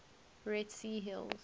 red sea hills